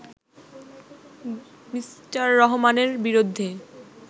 Me. রহমানের বিরুদ্ধে